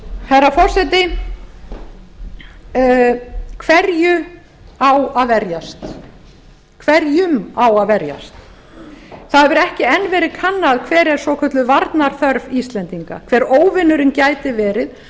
herra forseti hverju á að verjast hverjum á að verjast það hefur ekki enn verið kannað hver er svokölluð varnarþörf íslendinga hver óvinurinn gæti verið